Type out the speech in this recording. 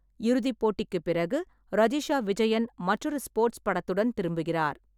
இறுதிப் போட்டிக்குப் பிறகு, ரஜிஷா விஜயன் மற்றொரு ஸ்போர்ட்ஸ் படத்துடன் திரும்புகிறார்.